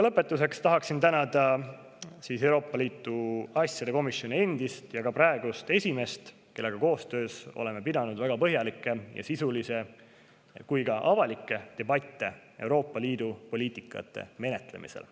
Lõpetuseks tahan tänada Euroopa Liidu asjade komisjoni endist ja ka praegust esimeest, kellega koostöös oleme pidanud väga põhjalikke, sisulisi ja ka avalikke debatte Euroopa Liidu poliitika menetlemisel.